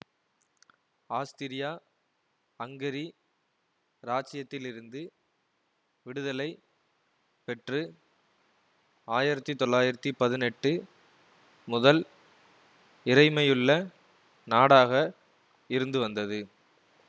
ஆஸ்திரியாஅங்கரி இராச்சியத்திலிருந்து விடுதலை பெற்று ஆயிரத்தி தொள்ளாயிரத்தி பதினெட்டு முதல் இறைமையுள்ள நாடாக இருந்துவந்தது